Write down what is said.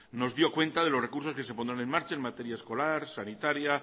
nos dio cuenta de los recursos que se pondrán en marcha en materia escolar sanitaria